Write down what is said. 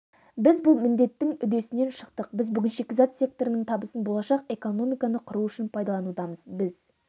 біз бұл міндеттің үдесінен шықтық біз бүгін шикізат секторының табысын болашақ экономиканы құру үшін пайдаланудамыз біз